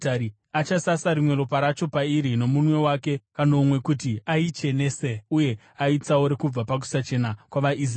Achasasa rimwe ropa racho pairi nomunwe wake kanomwe kuti aichenese uye aitsaure kubva pakusachena kwavaIsraeri.